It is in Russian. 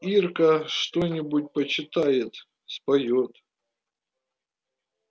ирка что-нибудь почитает споёт